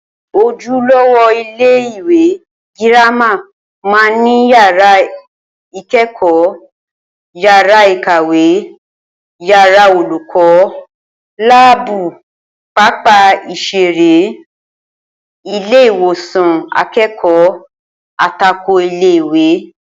Ojúlówó ilé-ìwé girama máa ń ní yàrá ìké̩kò̩ó̩, yàrá ìkàwé, yàrá olùkó̩, láàbù, pápá ìs̩eré, ilé-ìwò̩sàn aké̩kò̩ó̩ àtokò ilé-ìwé